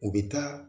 U bɛ taa